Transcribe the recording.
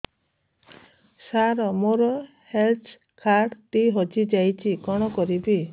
ସାର ମୋର health card ଟି ହଜି ଯାଇଛି କଣ କରିବି